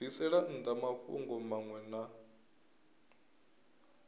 bvisela nnḓa mafhungo maṅwe na